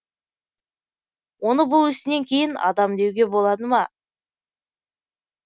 оны бұл ісінен кейін адам деуге болады ма